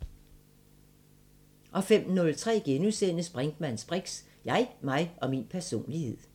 05:03: Brinkmanns briks: Jeg, mig og min personlighed *